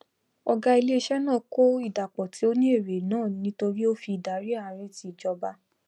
ògá ilé isé naà kọ ìdàpò tí ó ní èrè náà nítorí òfin ìdarí ààrí ti ìjọba